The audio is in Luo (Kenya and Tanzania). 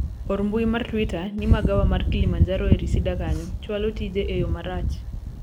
or mbui mar twita ni magawa mar kilimanjaro e reseda kanyo chwalo tije eyo marach